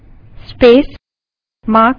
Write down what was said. terminal पर जाएँ